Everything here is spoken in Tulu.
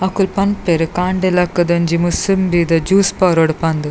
ಅಕುಲು ಪನ್ಪೆರ್ ಕಾಂಡೆ ಲಕುದು ಒಂಜಿ ಮುಸುಂಬಿದ ಜೂಸ್ ಪರೊಡ್ ಪಂದ್.